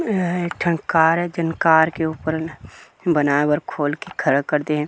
यह एक ठन कार हे जिन कार के ऊपर में बनाय बर खोल के खड़ कर दे --